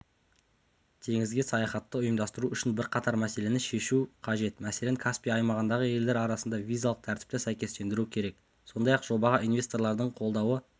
теңізге саяхатты ұйымдастыру үшін бірқатар мәселені шешу қажет мәселен каспий аймағындағы елдер арасында визалық тәртіпті сәйкестендіру керек сондай-ақ жобаға инвесторлардың қолдауы